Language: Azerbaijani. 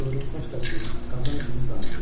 Qıvrımsaç da ki, qazan kimi qaynayır.